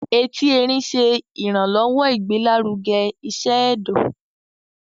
Ẹti Ẹrin ṣe iranlọwọ igbelaruge iṣẹ ẹdọ